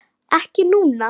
Ekki núna.